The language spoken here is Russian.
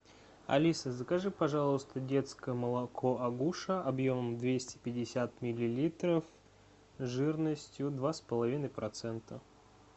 алиса закажи пожалуйста детское молоко агуша объемом двести пятьдесят миллилитров жирностью два с половиной процента